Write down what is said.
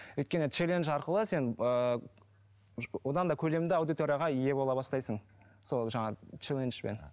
өйткен челендж арқылы сен ыыы одан да көлемді аудиторияға ие бола бастайсың сол жаңағы челенджбен